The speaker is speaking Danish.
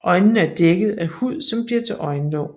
Øjnene er dækket af hud som bliver til øjenlåg